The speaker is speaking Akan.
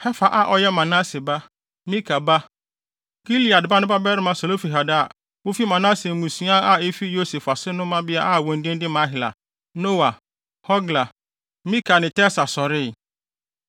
Hefer a ɔyɛ Manase ba, Mika ba, Gilead ba no babarima Selofehad a wofi Manase mmusua a efi Yosef ase no mmabea a wɔn din ne Mahla, Noa, Hogla, Milka ne Tirsa sɔree.